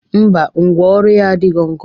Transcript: Mba, ngwa ọrụ ya adighọ nkọ